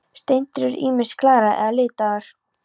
Steindir eru ýmist glærar eða litaðar.